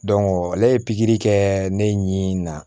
ale ye pikiri kɛ ne ɲinini na